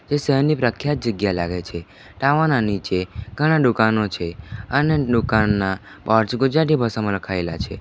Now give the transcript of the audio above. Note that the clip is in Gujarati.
એ શહેરની પ્રખ્યાત જગ્યા લાગે છે ટાવર ના નીચે ઘણા દુકાનો છે અને દુકાનના બોર્ડ્સ ગુજરાતી ભાષામાં લખાયેલા છે.